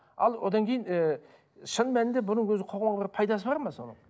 ал одан кейін ііі шын мәнінде бұның өзі қоғамға бір пайдасы бар ма соның